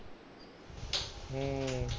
ਹੂੰ